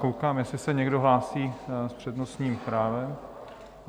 Koukám, jestli se někdo hlásí s přednostním právem?